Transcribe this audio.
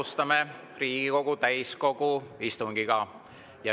Alustame Riigikogu täiskogu istungit.